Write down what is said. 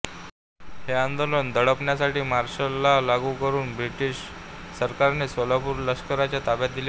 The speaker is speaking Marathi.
हे आंदोलन दडपण्यासाठी मार्शल लॉ लागू करून ब्रिटिश सरकारने सोलापूर लष्कराच्या ताब्यात दिले होते